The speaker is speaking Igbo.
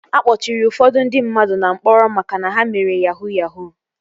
A kpọchiri ụfọdụ ndị mmadụ na mkpọrọ maka na ha mere yahuu yahuu